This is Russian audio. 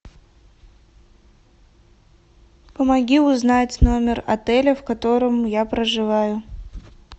помоги узнать номер отеля в котором я проживаю